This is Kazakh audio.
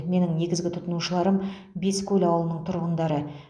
менің негізгі тұтынушыларым бескөл ауылының тұрғындары